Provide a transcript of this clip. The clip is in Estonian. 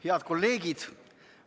Head kolleegid!